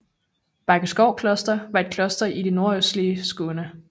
Bækkeskov Kloster var et kloster i det nordøstlige Skåne